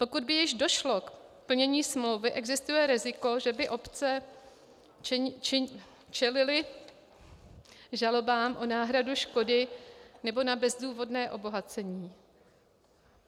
Pokud by již došlo k plnění smlouvy, existuje riziko, že by obce čelily žalobám o náhradu škody nebo na bezdůvodné obohacení.